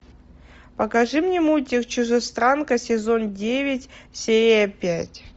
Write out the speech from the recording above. покажи мне мультик чужестранка сезон девять серия пять